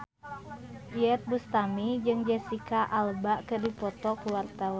Iyeth Bustami jeung Jesicca Alba keur dipoto ku wartawan